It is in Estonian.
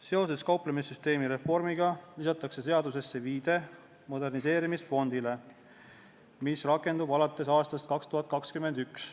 Seoses kauplemissüsteemi reformiga lisatakse seadusesse viide moderniseerimisfondile, mis rakendub alates 2021. aastast.